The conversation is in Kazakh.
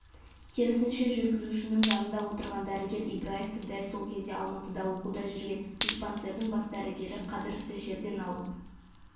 керісінше жүргізушінің жанында отырған дәрігер ибраевты дәл сол кезде алматыда оқуда жүрген диспансердің бас дәрігері қадыровты жерден алып